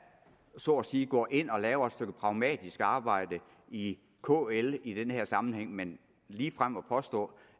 så at sige går ind og laver et stykke pragmatisk arbejde i kl i den her sammenhæng men ligefrem at påstå